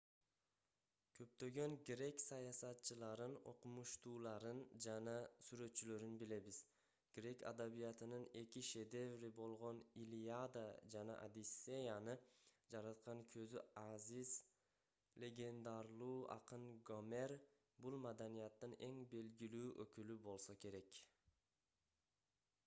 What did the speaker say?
көптөгөн грек саясатчыларын окумуштууларын жана сүрөтчүлөрүн билебиз грек адабиятынын эки шедеври болгон илиада жана одиссеяны жараткан көзү азиз легендарлуу акын гомер бул маданияттын эң белгилүү өкүлү болсо керек